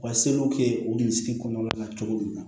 U ka seliw kɛ o misiri kɔnɔna na cogo min na